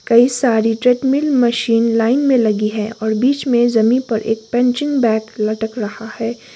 कई सारी treadmill machine line में लगी है और बीच में जमीन पर एक पंचिंग बैग लटक रहा है।